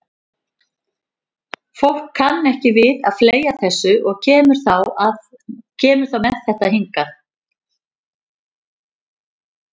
Fólk kann ekki við að fleygja þessu og kemur þá með þetta hingað.